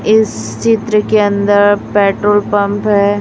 इस चित्र के अंदर पेट्रोल पंप है।